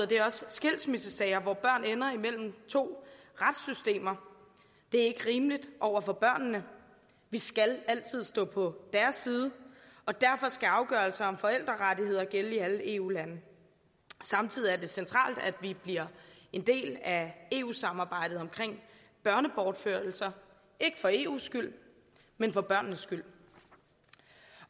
det også skilsmissesager hvor børn ender imellem to retssystemer det er ikke rimeligt over for børnene vi skal altid stå på deres side og derfor skal afgørelser om forældrerettigheder gælde i alle eu lande samtidig er det centralt at vi bliver en del af eu samarbejdet om børnebortførelser ikke for eus skyld men for børnenes skyld